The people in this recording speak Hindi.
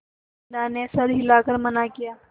बिन्दा ने सर हिला कर मना किया